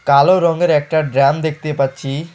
কালো রংয়ের একটা ড্রাম দেখতে পাচ্ছি।